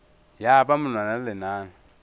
ya ba monwana le lenala